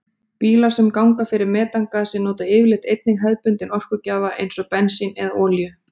Bílar sem ganga fyrir metangasi nota yfirleitt einnig hefðbundinn orkugjafa eins og bensín eða olíu.